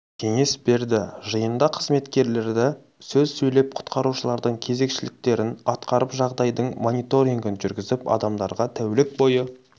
кеңес берді жиында қызметкерлері сөз сөйлеп құтқарушылардың кезекшіліктерін атқарып жағдайдың мониторингін жүргізіп адамдарға тәулік бойы